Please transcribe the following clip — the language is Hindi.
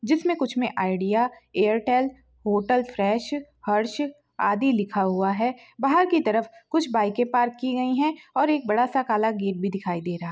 जिसमे कुछ मे Idea Airtel hotel fresh Harsh आदि लिखा हुआ है बाहर की तरफ कुछ बाइके पार्क की गयी हैं और एक बड़ा सा काला गेट भी दिखाई दे रहा है।